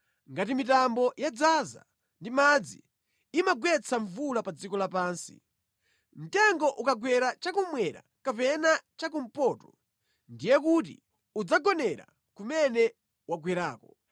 Ngati mitambo yadzaza ndi madzi, imagwetsa mvula pa dziko lapansi. Mtengo ukagwera cha kummwera kapena cha kumpoto, ndiye kuti udzagonera kumene wagwerako.